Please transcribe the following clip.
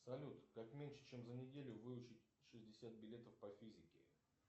салют как меньше чем за неделю выучить шестьдесят билетов по физике